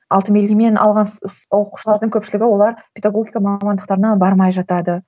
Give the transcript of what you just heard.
алтын белгімен алған оқушылардың көпшілігі олар педагогика мамандықтарына бармай жатады